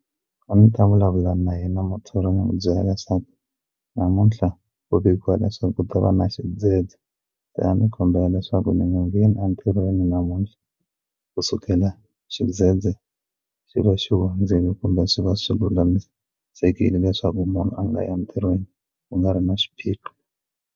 A ndzi ta vulavula na yena muthori ni mu byela leswaku namuntlha u vikiwa leswaku ku ta va na xidzedze se a ni kombela leswaku ni nga ngheni entirhweni namuntlha kusukela xidzedze xi va xi hundzile kumbe swi va swi lulamisekile leswaku munhu a nga entirhweni ku nga ri na xiphiqo.